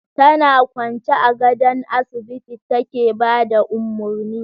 Tana kwance a gadon asibiti take ba da umurni.